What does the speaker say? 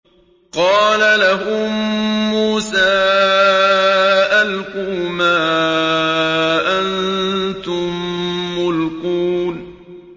قَالَ لَهُم مُّوسَىٰ أَلْقُوا مَا أَنتُم مُّلْقُونَ